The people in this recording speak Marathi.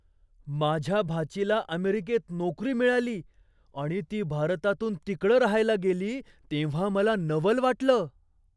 माझ्या भाचीला अमेरिकेत नोकरी मिळाली आणि ती भारतातून तिकडं राहायला गेली तेव्हा मला नवल वाटलं.